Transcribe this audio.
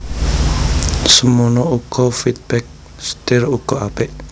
Semono uga feedback setir uga apik